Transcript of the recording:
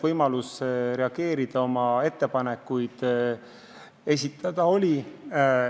Võimalus reageerida, oma ettepanekuid esitada oli.